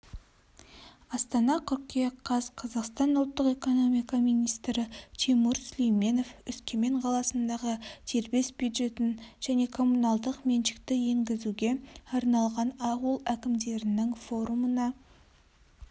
астана қыркүйек қаз қазақстан ұлттық экономика министрі тимур сүлейменов өскемен қаласындағы дербес бюджетін және коммуналдық меншікті енгізуге арналған ауыл әкімдерінің форумына